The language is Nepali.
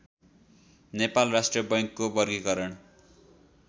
नेपाल राष्ट्र बैङ्कको वर्गिकरण